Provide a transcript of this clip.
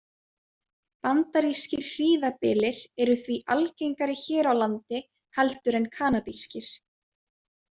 Bandarískir hríðarbyljir eru því algengari hér á landi heldur en kanadískir.